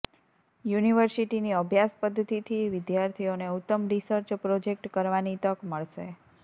યુનિવર્સિટીની અભ્યાસ પદ્ધતિથી વિદ્યાર્થીઓને ઉત્તમ રિસર્ચ પ્રોજેક્ટ કરવાની તક મળશે